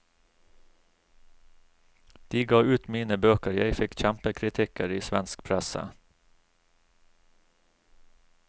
De ga ut mine bøker, jeg fikk kjempekritikker i svensk presse.